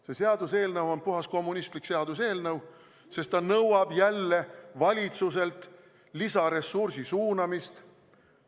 See seaduseelnõu on puhas kommunistlik seaduseelnõu, sest ta nõuab jälle valitsuselt lisaressursi suunamist.